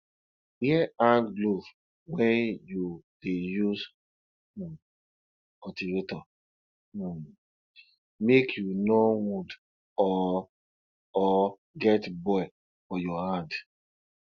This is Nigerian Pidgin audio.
wear hand gloves wen you dey use um cultivator um make you no wound or or get boil for your hand